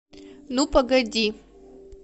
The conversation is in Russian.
ну погоди